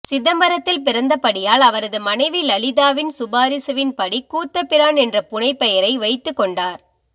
சிதம்பரத்தில் பிறந்தபடியால் அவரது மனைவி லலிதாவின் சிபாரிசுவின்படி கூத்தபிரான் என்ற புனைபெயரை வைத்துக்கொண்டார்